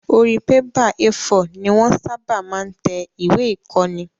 Orí bébà A4 ni wọ́n ṣábà máa ń tẹ ìwé ìkóni